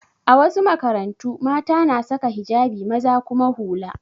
A wasu makarantu, mata na saka hijabi maza kuma hula.